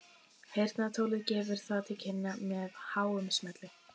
Heyrnartólið gefur það til kynna með háum smelli.